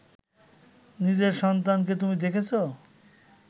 নিজের সন্তানকে তুমি দেখেছ